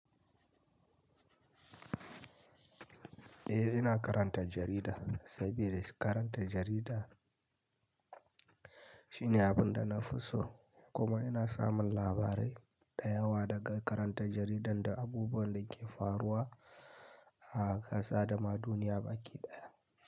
Eh ina karanta jarida, sabida karanta jarida shine abun da na fi so. Kuma ina samun labarai da yawa daga karanta jaridar da abubuwan da ke faruwa a kasa da ma duniya baki ɗaya.